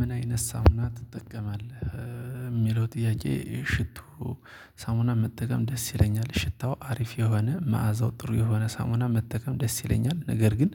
ምን አይነት ሳሙና ትጠቀማለህ የሚለው ጥያቄ ሽቶ። ሳሙና መጠቀም ደስ ይለኛል ሽታው አሪፍ የሆነ መዓዛው ጥሩ የሆነ ሳሙና መጠቀም ደስ ይለኛል። ነገር ግን